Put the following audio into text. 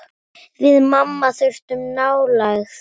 Við mamma þurftum nálægð.